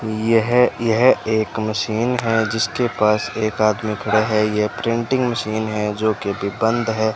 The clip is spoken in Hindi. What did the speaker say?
यह यह एक मशीन है जिसके पास एक आदमी खड़ा है यह प्रिंटिंग मशीन है जोकि अभी बंद है।